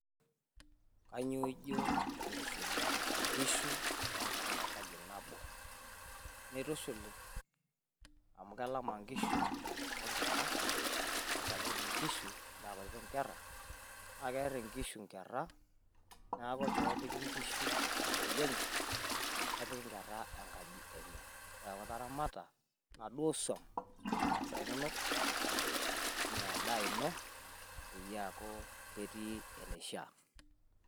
Kanyioo ijo tenitushuli inkishu o nkerra te enkaji nabo? mitushuli amu kelama nkishu onkeera kasapukin inkishu nakutitik inkeera , naa keer inkishu nkeera ,naa kepiki nkishu enkaji enye na kepiki nkera enkaji enye..eneaku iramata naduoo suam metaa endaa ino peeku ketii enishaa.